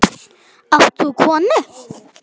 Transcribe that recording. Átt þú konu?